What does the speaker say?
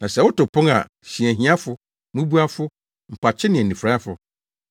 Na sɛ woto pon a hyia ahiafo, mmubuafo, mpakye ne anifuraefo.